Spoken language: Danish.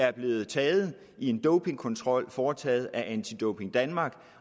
er blevet taget i en dopingkontrol foretaget af anti doping danmark